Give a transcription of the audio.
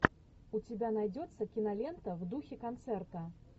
у тебя найдется кинолента в духе концерта